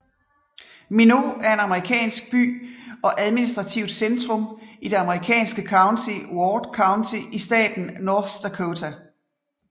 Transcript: Minot er en amerikansk by og administrativt centrum i det amerikanske county Ward County i staten North Dakota